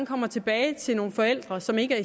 komme tilbage til nogle forældre som ikke